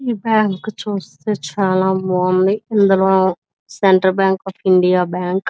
ఈ బ్యాంకు చుస్తే చాలా బాగుంది ఇందులో central bank of India bank .